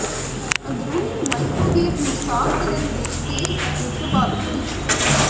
ਅੰਦਰੂਨੀ ਮਾਈਕ੍ਰੋਵੇਵ ਨੂੰ ਸਾਫ਼ ਕਰਨ ਦੇ ਤੇਜ਼ ਅਤੇ ਪ੍ਰਭਾਵੀ ਤਰੀਕੇ